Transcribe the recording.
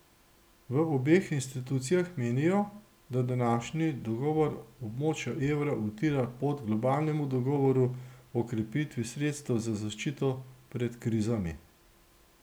V obeh institucijah menijo, da današnji dogovor območja evra utira pot globalnemu dogovoru o krepitvi sredstev za zaščito pred krizami.